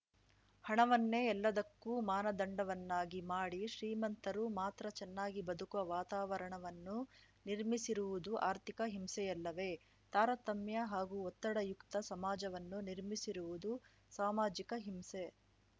ಹಣವನ್ನೇ ಎಲ್ಲದಕ್ಕೂ ಮಾನದಂಡವನ್ನಾಗಿ ಮಾಡಿ ಶ್ರೀಮಂತರು ಮಾತ್ರ ಚೆನ್ನಾಗಿ ಬದುಕುವ ವಾತಾವರಣವನ್ನು ನಿರ್ಮಿಸಿರುವುದು ಆರ್ಥಿಕ ಹಿಂಸೆಯಲ್ಲವೇ ತಾರತಮ್ಯ ಹಾಗೂ ಒತ್ತಡಯುಕ್ತ ಸಮಾಜವನ್ನು ನಿರ್ಮಿಸಿರುವುದು ಸಾಮಾಜಿಕ ಹಿಂಸೆ